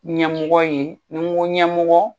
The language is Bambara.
Ɲɛmɔgɔ ye n'i n ko ɲɛmɔgɔ.